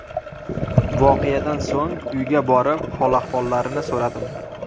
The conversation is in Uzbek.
Voqeadan so‘ng uyga borib hol-ahvollarini so‘radim.